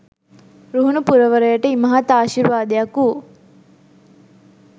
රුහුණු පුරවරයට ඉමහත් ආශිර්වාදයක් වූ